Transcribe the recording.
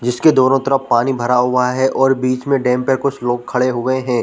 जिसके दोनों तरफ पानी भरा हुआ है और बीच में डैम पर कुछ लोग खड़े हुए है।